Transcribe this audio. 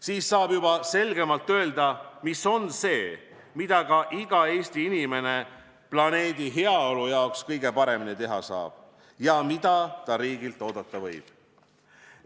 Siis saab juba selgemalt öelda, mis on see, mida ka iga Eesti inimene planeedi heaolu jaoks kõige paremini teha saab ja mida ta riigilt oodata võib.